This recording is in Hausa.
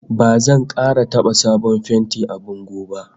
Ba zan kara taba sabon fenti a bango ba!